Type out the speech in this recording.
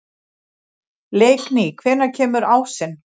Leikný, hvenær kemur ásinn?